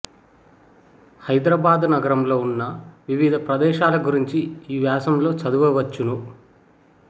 హైదరాబాదు నగరంలో ఉన్న వివిధ ప్రదేశాల గురించి ఈ వ్యాసంలో చదువవచ్చును